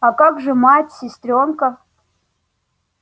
а как же мать сестрёнка